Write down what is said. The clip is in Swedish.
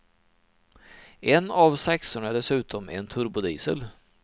En av sexorna är dessutom en turbodiesel.